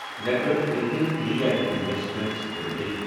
network eighteen media and investments limited